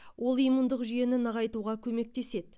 ол иммундық жүйені нығайтуға көмектеседі